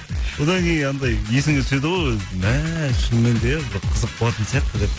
одан кейін анандай есіңе түседі ғой мә шыныменде бір қызық болатын сияқты деп